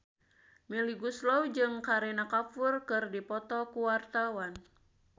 Melly Goeslaw jeung Kareena Kapoor keur dipoto ku wartawan